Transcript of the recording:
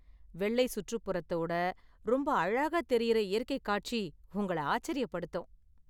வெள்ளை சுற்றுப்புறத்தோட ரொம்ப அழகா தெரியிற இயற்கை காட்சி உங்களை ஆச்சரியப்படுத்தும்.